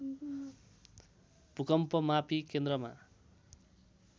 भूकम्पमापी केन्द्रमा